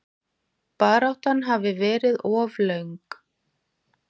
Baráttan hafi verið of löng.